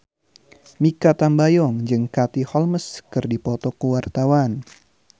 Mikha Tambayong jeung Katie Holmes keur dipoto ku wartawan